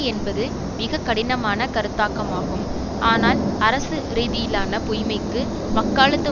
என்பது மிக கடினமான கருத்தாக்கமாகும் ஆனால் அரசு ரீதியிலான பொய்மைக்கு வக்காலத்து